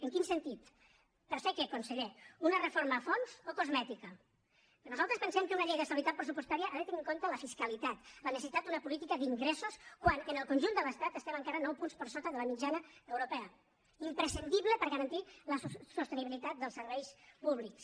en quin sentit per fer què conseller una reforma a fons o cosmètica nosaltres pensem que una llei d’estabilitat pressupostària ha de tenir en compte la fiscalitat la necessitat d’una política d’ingressos quan en el conjunt de l’estat estem encara nou punts per sota de la mitjana europea imprescindible per garantir la sostenibilitat dels serveis públics